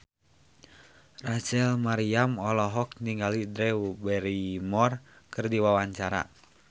Rachel Maryam olohok ningali Drew Barrymore keur diwawancara